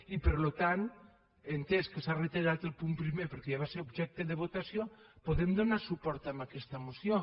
i per tant atès que s’ha retallat el punt primer perquè ja va ser objecte de votació podem donar suport a aquesta moció